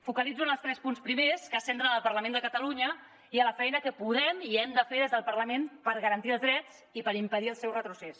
focalitzo en els tres punts primers que es centren en el parlament de catalunya i en la feina que podem i hem de fer des del parlament per garantir els drets i per impedir el seu retrocés